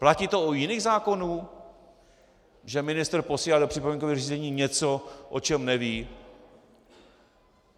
Platí to u jiných zákonů, že ministr posílá do připomínkového řízení něco, o čem neví?